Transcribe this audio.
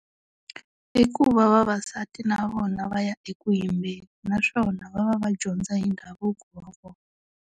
I ku va vavasati na vona va ya eku yimbeni naswona va va va dyondza hi ndhavuko wa vona.